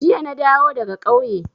Jiya na dawo daga ƙauye.